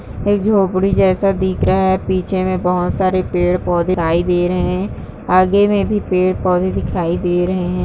एक झोपडी जेसा दिख रहा है पीछे में बहौत सारे पेड़-पोधे दिखाई दे रहे हैं आगे में भी पेड़-पोधे दिखाई दे रहे हैं।